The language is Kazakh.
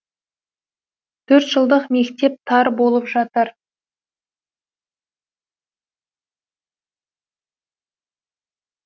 төрт жылдық мектеп тар болып жатыр